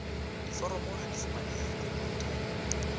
diforomo ha di fumanehe khomputeng